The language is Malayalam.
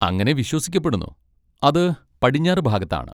അങ്ങനെ വിശ്വസിക്കപ്പെടുന്നു, അത് പടിഞ്ഞാറ് ഭാഗത്താണ്.